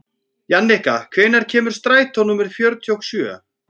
Jannika, hvenær kemur strætó númer fjörutíu og sjö?